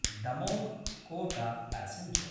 Damoh Kota passenger